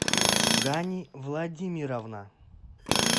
гани владимировна